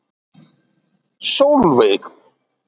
Sólveig